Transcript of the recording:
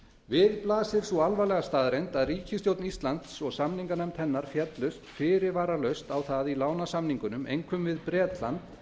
við blasir sú alvarlega staðreynd að ríkisstjórn íslands og samninganefnd hennar féllust fyrirvaralaust á það í lánasamningunum einkum við bretland